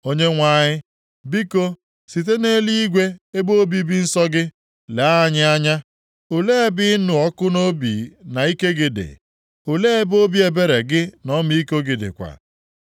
Onyenwe anyị, biko site nʼeluigwe, ebe obibi nsọ gị, lee anyị anya. Olee ebe nʼịnụ ọkụ nʼobi na ike gị dị? Olee ebe obi ebere gị na ọmịiko gị dịkwa?